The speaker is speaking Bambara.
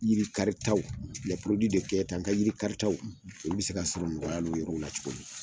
Yiri karitaw l n ka yiri kariitaw , olu bɛ se ka sɔrɔ nɔgɔyala yɔrɔw la cogoya min.